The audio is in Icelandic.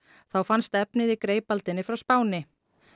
þá fannst efnið í frá Spáni